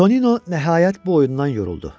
Tonino nəhayət bu oyundan yoruldu.